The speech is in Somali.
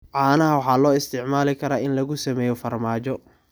Caanaha waxaa loo isticmaali karaa in lagu sameeyo farmaajo.